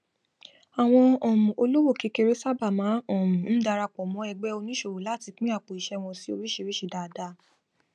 àwọn um olówò kékeré sábà máa um ń darapọ mọ ẹgbẹ oníṣòwò láti pín àpòiṣẹ wọn sí oríṣiríṣi dáadáa